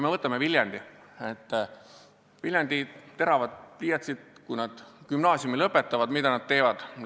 Võtame Viljandi: kui Viljandi teravad pliiatsid gümnaasiumi lõpetavad, mida nad teevad?